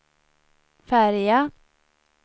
färja